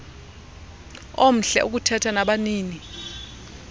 omhle ukuthetha nabanini